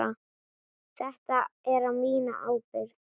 Þetta er á mína ábyrgð.